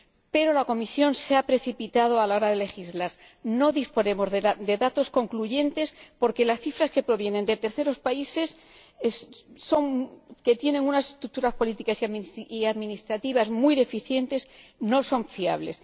Pero la Comisión se ha precipitado a la hora de legislar no disponemos de datos concluyentes porque las cifras que provienen de terceros países que tienen unas estructuras políticas y administrativas muy deficientes no son fiables.